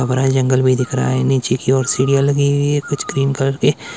जंगल भी दिख रहा है। नीचे की ओर सीढ़ियां लगी हुई है कुछ क्रीम कलर के--